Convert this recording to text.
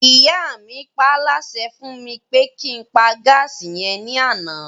Ìyá mi paálásẹ fún mi pé kí n pa gáàsì yẹn ní àná